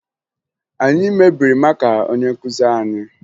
Anyị mebiri maka onye nkụzi anyị